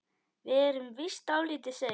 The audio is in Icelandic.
Við erum víst dálítið sein.